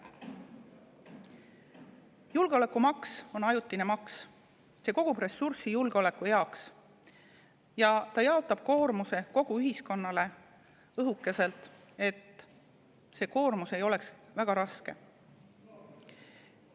Julgeolekumaks on ajutine maks, see kogub ressurssi julgeoleku heaks ja jaotab koormuse kogu ühiskonnale õhukeselt, et see koormus ei oleks väga raske.